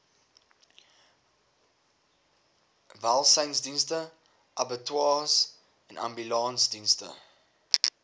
welsynsdienste abattoirs ambulansdienste